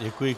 Děkuji.